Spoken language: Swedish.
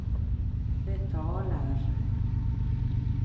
betalar